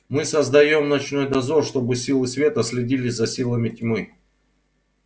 мы создаём ночной дозор чтобы силы света следили за силами тьмы